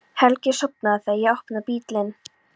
Helgi er sofnaður þegar ég opna bílinn.